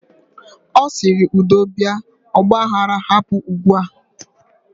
Osiri: Udo bia. Ogba aghara hapụ ugbua